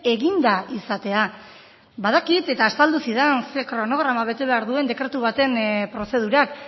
eginda izatea badakit eta azaldu zidan zein kronograma bete behar duen dekretu baten prozedurak